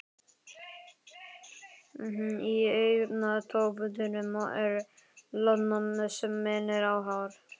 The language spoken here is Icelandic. Í augntóftunum er loðna sem minnir á hár.